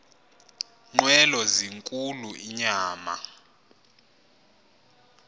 nqwelo zinkulu inyama